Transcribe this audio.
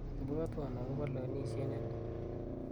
ibwotwon agopo levenisiet nelel